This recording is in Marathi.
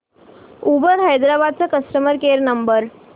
उबर हैदराबाद चा कस्टमर केअर नंबर